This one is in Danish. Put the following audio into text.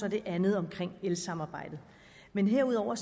og det andet om elsamarbejdet men herudover